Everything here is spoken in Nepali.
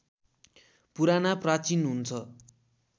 पुराना प्राचीन हुन्छ